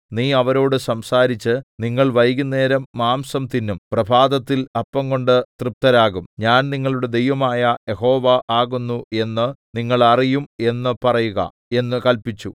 നീ അവരോട് സംസാരിച്ചു നിങ്ങൾ വൈകുന്നേരം മാംസം തിന്നും പ്രഭാതത്തിൽ അപ്പംകൊണ്ട് തൃപ്തരാകും ഞാൻ നിങ്ങളുടെ ദൈവമായ യഹോവ ആകുന്നു എന്ന് നിങ്ങൾ അറിയും എന്ന് പറയുക എന്ന് കല്പിച്ചു